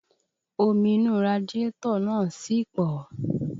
Omi inú radiátọ̀ náà sì pọ̀